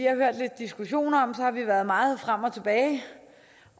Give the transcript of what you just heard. har hørt lidt diskussion om har vi været meget frem og tilbage